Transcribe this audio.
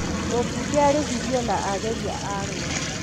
mũmbunge arĩhirio na ageria Arũa